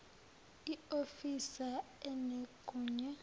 i ofisa enegunya